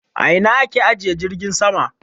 A ina a ke ajiye jirgin sama?